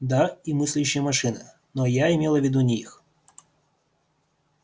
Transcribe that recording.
да и мыслящие машины но я имела в виду не их